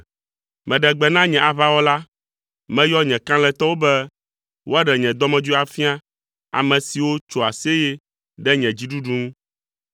Meɖe gbe na nye aʋawɔla, meyɔ nye kalẽtɔwo be woaɖe nye dɔmedzoe afia, ame siwo tsoa aseye ɖe nye dziɖuɖu ŋu.